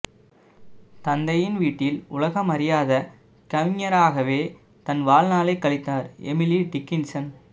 தந்தையின் வீட்டில் உலகம் அறியாத கவிஞராகவே தன் வாழ்நாளை கழித்தார் எமிலி டிக்கின்சன்